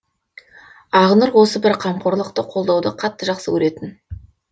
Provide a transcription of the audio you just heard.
ақнұр осы бір қамқорлықты қолауды қатты жақсы көретін